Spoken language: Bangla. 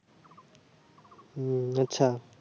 হু আচ্ছা